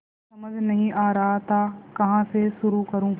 कुछ समझ नहीं आ रहा था कहाँ से शुरू करूँ